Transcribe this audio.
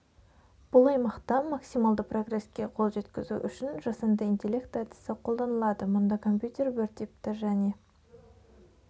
бұл аймақта максималды прогресске қол жеткізу үшін жасанды интеллект әдісі қолданылады мұнда компьютер бір типті және